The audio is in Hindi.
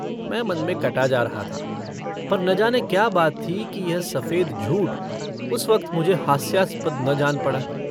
मैं मन में कटा जा रहा था पर न जाने क्या बात थी कि यह सफेद झूठ उस वक्त मुझे हास्यास्पद न जान पड़ा।